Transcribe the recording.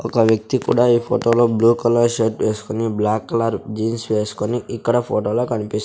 ఒక వ్యక్తి కుడా ఈ ఫొటో లో బ్లూ కలర్ షర్ట్ వేస్కొని బ్లాక్ కలర్ జీన్స్ వేస్కొని ఇక్కడ ఫోటో లో కనిపిస్ --